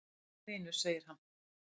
"""Jæja, vinur segir hann."""